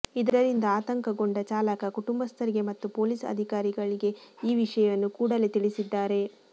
ಇದರಿಂದ ಆತಂಕಗೊಂಡ ಚಾಲಕ ಕುಟುಂಬಸ್ಥರಿಗೆ ಮತ್ತು ಪೊಲೀಸ್ ಅಧಿಕಾರಿಗಳಿಗೆ ಈ ವಿಷಯವನ್ನು ಕೂಡಲೆ ತಿಳಿಸಿದ್ದಾರೆ